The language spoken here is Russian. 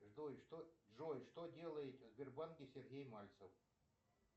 джой что делает в сбербанке сергей мальцев